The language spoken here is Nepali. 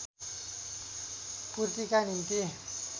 पूर्तिका निम्ति